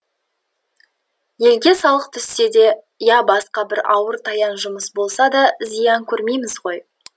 елге салық түссе де я басқа бір ауыр таян жұмыс болса да зиян көрмейміз ғой